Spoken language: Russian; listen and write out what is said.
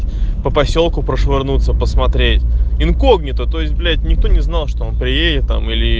по посёлку прошвырнуться посмотреть инкогнито то есть блять никто не знал что он приедет там или